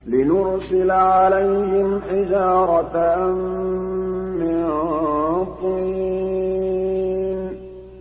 لِنُرْسِلَ عَلَيْهِمْ حِجَارَةً مِّن طِينٍ